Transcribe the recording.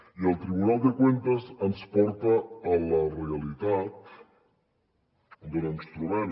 i el tribunal de cuentas ens porta a la realitat d’on ens trobem